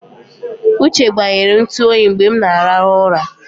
Uche gbanyere ntụ oyi mgbe m na-arahụ ụra.